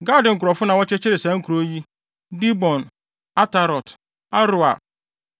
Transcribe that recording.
Gad nkurɔfo na wɔkyekyeree saa nkurow yi: Dibon, Atarot, Aroer.